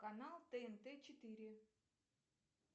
канал тнт четыре